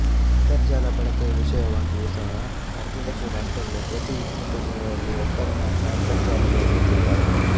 ಅಂತರಜಾಲ ಬಳಕೆಯ ವಿಷಯವಾಗಿಯು ಸಹ ಅರ್ಧದಷ್ಟು ರಾಷ್ಟ್ರಗಳು ಪ್ರತಿ ಇಪ್ಪತ್ತು ಜನರಲ್ಲಿ ಒಬ್ಬರು ಮಾತ್ರ ಅಂತರಜಾಲ ಬಳಸುತ್ತಿದ್ದಾರೆ